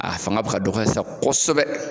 A fanga bi ka dɔgɔya sisan kɔsɛbɛ